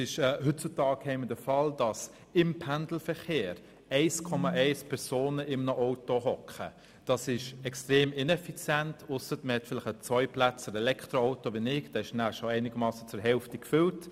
Im Pendelverkehr sitzen heute 1,1 Personen im Auto, was extrem ineffizient ist, ausser wenn man ein Zweiplätzer-Elektroauto hat wie ich, denn dann ist es schon zur Hälfte gefüllt.